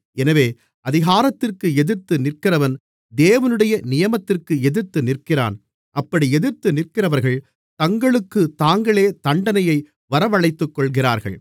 எனவே அதிகாரத்திற்கு எதிர்த்து நிற்கிறவன் தேவனுடைய நியமத்திற்கு எதிர்த்து நிற்கிறான் அப்படி எதிர்த்து நிற்கிறவர்கள் தங்களுக்குத் தாங்களே தண்டனையை வரவழைத்துக்கொள்கிறார்கள்